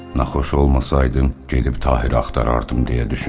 Naxoş olmasaydım gedib Tahiri axtarardım, deyə düşündü.